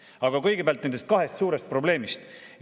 Aga kõigepealt nendest kahest suurest probleemist.